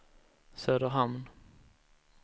Söderhamn